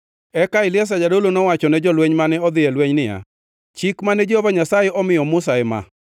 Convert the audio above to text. Eka Eliazar jadolo nowacho ne jolweny mane odhi e lweny niya, “Chik mane Jehova Nyasaye omiyo Musa ema: